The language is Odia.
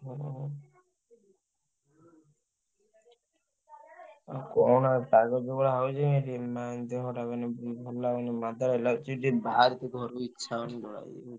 ହୁଁ ହୁଁ। ଆଉ କହନା ପାଗ ଯୋଉ ଭଳିଆ ହଉଛି ଝିମା ଦେହଟା ମାନେ ଉଁ ଭଲ ଲାଗୁନି ମାଦାଳିଆ ଲାଗୁଚି। ଟିକେ ବାହାରକୁ ଘରୁ ଇଛା ହଉନି ଯିବାକୁ।